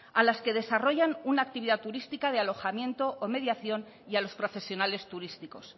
a las que desarrollan una actividad turística de alojamiento o mediación y a los profesionales turísticos